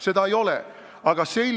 Seda ei ole!